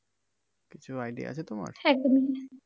কিছু idea আছে তোমার?